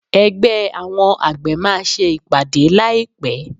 Ẹgbẹ́ àwọn àgbẹ̀ máa ṣe ìpàdé láì pé.